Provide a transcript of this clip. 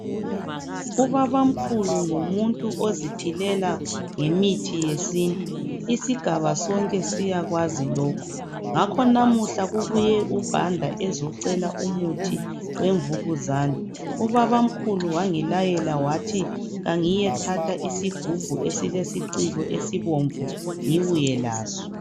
Ubabamkhulu ngumuntu oziphilela ngemithi yesintu, isigaba sonke siyakwazi lokhu ngakho namuhla kubuye uBanda ecela umuthi weMvukuzane, ubabamkhulu wangilayela ukuthi kangiye thatha isigubhu esilesiciko esibomvu ngibuye laso.